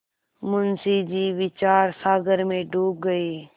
मुंशी जी विचारसागर में डूब गये